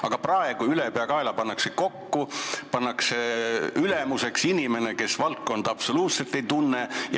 Aga praegu pannakse nad ülepeakaela kokku ja ülemuseks pannakse inimene, kes valdkonda absoluutselt ei tunne.